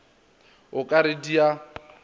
o ka re di a